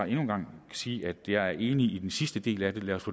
endnu en gang sige at jeg er enig i den sidste del af det lad os få